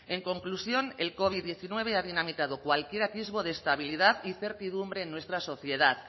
en conclusión el covid diecinueve ha dinamitado cualquier atisbo de estabilidad y certidumbre en nuestra sociedad